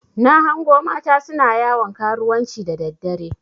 Na hango mata suna yawon karuwanci da daddare.